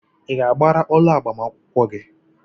Ị ga-agbara ọla agbamakwụkwọ gị?